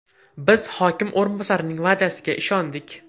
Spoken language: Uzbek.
Biz hokim o‘rinbosarining va’dasiga ishondik.